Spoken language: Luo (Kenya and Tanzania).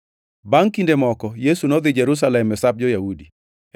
Bangʼ kinde moko, Yesu nodhi Jerusalem e Sap jo-Yahudi.